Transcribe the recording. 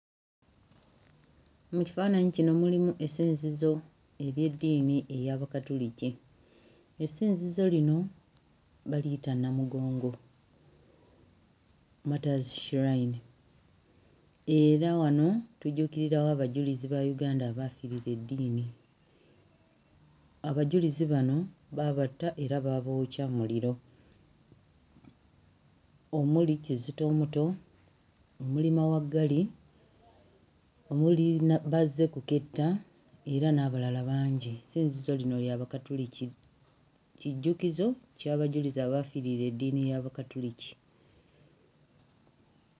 Mu kifaananyi kino mulimu essinzizo ery'eddiini ey'Abakatoliki. Essinzizo lino baliyita Namugongo Martyrs Shrine era wano tujjukirirawo abajulizi ba Uganda abaafiirira eddiini. Abajulizi bano baabatta era baabookya muliro, omuli Kizito omuto, omuli Mawaggali, omuli Bazzekuketta era n'abalala bangi. Essinzizo lino lya Bakatoliki, kijjukizo kya bajulizi abaafiirira eddiini y'Abakatoliki.